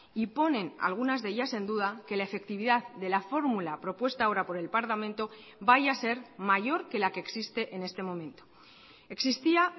y ponen algunas de ellas en duda que la efectividad de la fórmula propuesta ahora por el parlamento vaya a ser mayor que la que existe en este momento existía